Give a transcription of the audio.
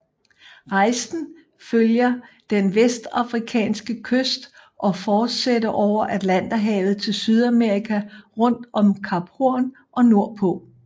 Rejsen følger den vestafrikanske kyst og fortsætter over atlanterhavet til Sydamerika rundt om Kap Horn og nordpå